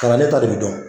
Kalanden ta de bi dɔn